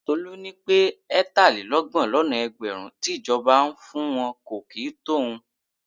Tolu ní pé ẹ̀tàlélọ́gbọ̀n lọ́nà ẹgbẹ̀rún tí ìjọba ń fún wọn kò kì í tó òun.